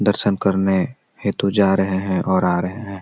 दर्शन करने हेतु जा रहे हैं और आ रहे हैं।